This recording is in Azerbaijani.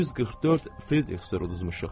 144 Fritzdor uduzmuşuq.